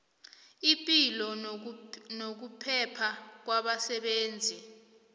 ipilo nokuphepha kwabasebenzi